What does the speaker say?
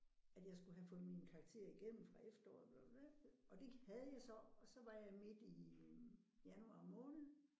At jeg skulle have fået mine karakterer igennem fra efteråret og det havde jeg så og så var jeg midt i januar måned